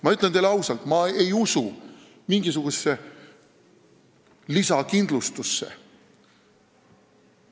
Ma ütlen teile ausalt, et ma ei usu mingisugusesse lisakindlustusse.